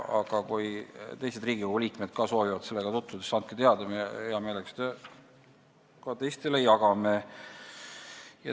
Kui teised Riigikogu liikmed soovivad ka sellega tutvuda, siis andke teada – me jagame seda infot hea meelega ka teistele.